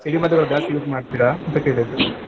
ಸಿಡಿಮದ್ದುಗಳು ಜಾಸ್ತಿ use ಮಾಡ್ತೀರಾ ಅಂತ ಕೇಳಿದ್ದು.